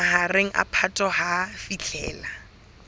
mahareng a phato ho fihlela